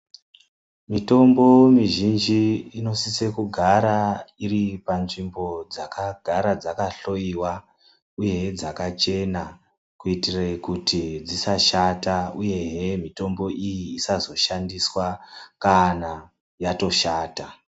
Mitombo mizhinji ino sise kugara iri panzvimbo dzakagara dzaka hloiwa, uyehe dzaka chena, kuitire kuti dzisa shata uyehe mitombo iyi isazo shandiswa kana yotoshata.